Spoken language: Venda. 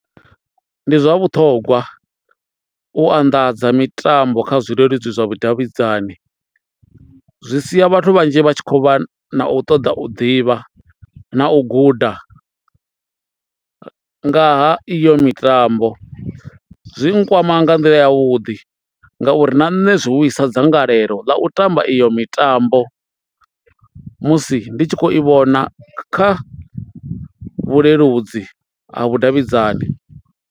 Ndi zwa vhuṱhogwa u anḓadza mitambo kha zwileludzi zwa vhudavhidzani zwi sia vhathu vhanzhi vha tshi khou vha na u ṱoḓa u ḓivha na u guda ngaha iyo mitambo, zwi nkwama nga nḓila ya vhuḓi ngauri na nṋe zwi vhuisa dzangalelo ḽa u tamba iyo mitambo musi ndi tshi khou i vhona kha vhuleludzi ha vhudavhidzani.